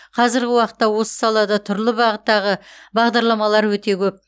қазіргі уақытта осы салада түрлі бағыттағы бағдарламалар өте көп